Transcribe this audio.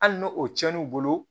Hali n'o tiɲɛn'u bolo